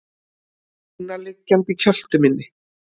Lúna liggjandi í kjöltu minni.